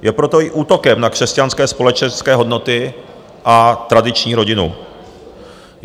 Je proto i útokem na křesťanské společenské hodnoty a tradiční rodinu.